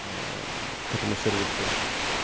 к этому сервису